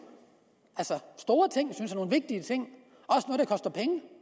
synes jeg vigtige ting